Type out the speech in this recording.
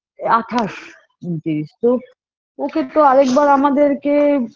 আঠাস ঊনত্রিশ তো ওকে তো আর একবার আমাদেরকে